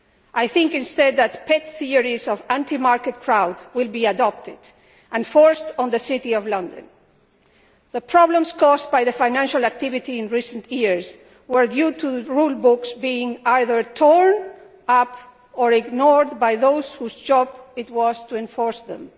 I think, instead, that the pet theories of the anti market crowd will be adopted and forced upon the City of London. The problems caused by financial activity in recent years were due to rule books being either torn up or ignored by those whose job it was to enforce them.